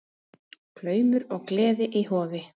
Glaumur og gleði í Hofi